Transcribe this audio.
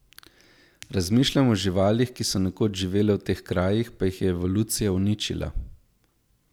Razmišljam o živalih, ki so nekoč živele v teh krajih, pa jih je evolucija uničila.